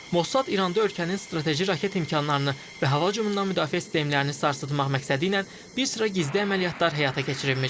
Mossad İranda ölkənin strateji raket imkanlarını və hava hücumundan müdafiə sistemlərini sarsıtmaq məqsədilə bir sıra gizli əməliyyatlar həyata keçirilmiş.